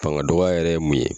Fanga dɔgɔ yɛrɛ ye mun ye